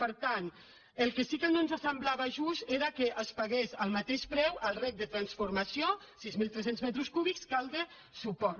per tant el que sí que no ens semblava just era que es pagués al mateix preu el reg de transformació sis mil tres cents metres cúbics que el de suport